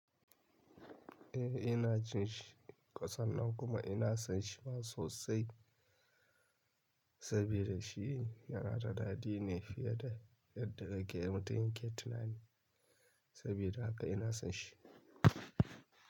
Eh ina jin shi kasan nan kuma ina son shi ma sosai saboda shi yana da daɗi ne fiye da yadda na ke mutum yake tunani sabida haka ina son shi.